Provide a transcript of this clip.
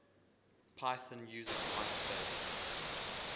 python uses whitespace